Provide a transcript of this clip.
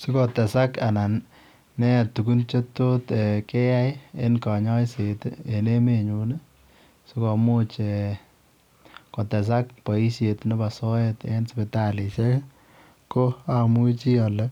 Sikotesaak anan nee tuguuk che tot keyai ii en kanyaiseet ii en emet nyuun sikotesaak kanyaiseet ko amuchii ale